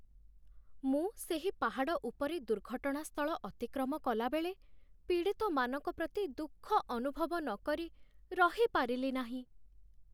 ମୁଁ ସେହି ପାହାଡ଼ ଉପରେ ଦୁର୍ଘଟଣା ସ୍ଥଳ ଅତିକ୍ରମ କଲାବେଳେ ପୀଡ଼ିତମାନଙ୍କ ପ୍ରତି ଦୁଃଖ ଅନୁଭବ ନକରି ରହିପାରିଲି ନାହିଁ।